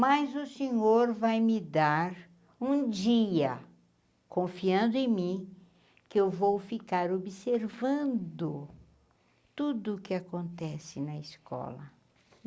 Mas o senhor vai me dar um dia, confiando em mim, que eu vou ficar observando tudo que acontece na escola.